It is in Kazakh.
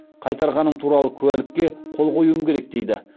қайтарғаным туралы куәлікке қол қоюым керек дейді